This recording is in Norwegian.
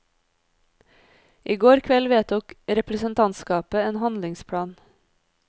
I går kveld vedtok representantskapet en handlingsplan.